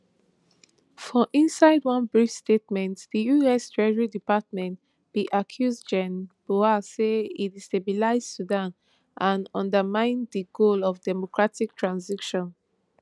for inside one brief statement di us treasury department bin accuse gen burhan say e destabilize sudan and undermine di goal of democratic transition